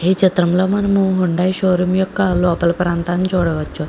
ఈ చిత్రంలో మనము హుండాయ్ షోరూమ్ యొక్క లోపల ప్రాంతాన్ని చూడవచ్చు.